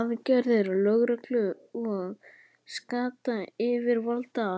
aðgerðir lögreglu og skattayfirvalda?